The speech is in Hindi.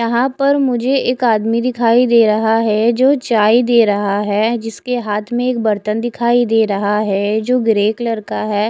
यहाँ पर मुझे एक आदमी दिखाई दे रहा है जो चाय दे रहा है जिसके हात में एक बरतन दिखाई दे रहा है जो ग्रे कलर का है।